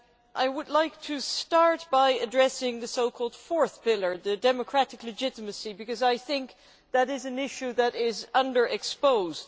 I would like to start by addressing the so called fourth pillar, democratic legitimacy, because I think that this is an issue which is under exposed.